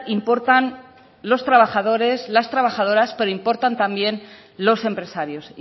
importan los trabajadores las trabajadoras pero importan también los empresarios